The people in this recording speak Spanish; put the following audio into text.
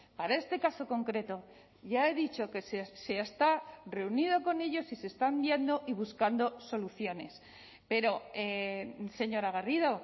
para este caso concreto ya he dicho que se está reunido con ellos y se están viendo y buscando soluciones pero señora garrido